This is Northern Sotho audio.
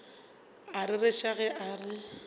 a rereša ge a re